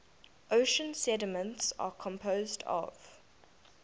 ocean sediments are composed of